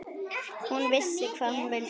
Hún vissi hvað hún vildi.